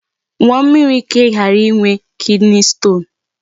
Ṅụọ mmịrị ka ị ghara ịnwe kidney stone.